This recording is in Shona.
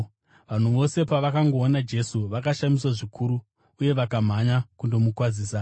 Vanhu vose pavakangoona Jesu, vakashamiswa zvikuru uye vakamhanya kundomukwazisa.